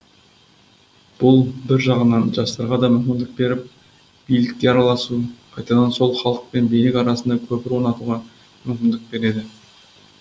бұл бір жағынан жастарға да мүмкіндік беріп билікке араласу қайтадан сол халық пен билік арасында көпір орнатуға мүмкіндік береді